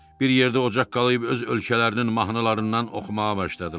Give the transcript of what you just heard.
Bir yerdə ocaq qalayb öz ölkələrinin mahnılarından oxumağa başladılar.